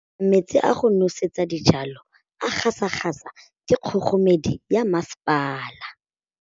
Metsi a go nosetsa dijalo a gasa gasa ke kgogomedi ya masepala.